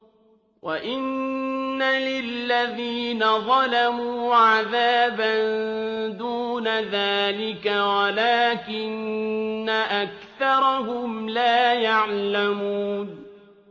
وَإِنَّ لِلَّذِينَ ظَلَمُوا عَذَابًا دُونَ ذَٰلِكَ وَلَٰكِنَّ أَكْثَرَهُمْ لَا يَعْلَمُونَ